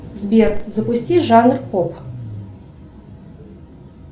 сбер запусти жанр поп